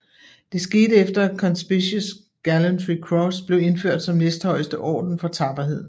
Det skete efter at Conspicuous Gallantry Cross blev indført som næsthøjeste orden for tapperhed